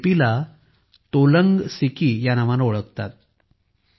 या लिपीला तोलंग सिकी या नावाने ओळखतात